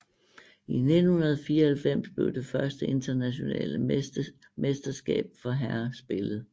I 1994 blev det første internationale mesterskab for herrer spillet